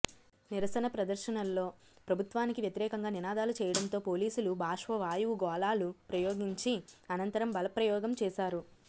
నిరసన ప్రదర్శనల్లో ప్రభుత్వానికి వ్యతిరేకంగా నినాదాలు చేయడంతో పోలీసులు బాష్పవాయువుగోళాలు ప్రయోగించి అనంతరం బలప్రయోగం చేశారు